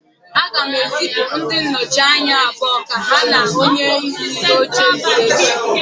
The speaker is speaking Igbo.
Aga m ezipụ ndị nnọchi anya abụọ ka ha na onyeisi oche zute echi